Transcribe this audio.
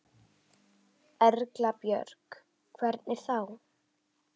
Erla Björg: Hvernig þá?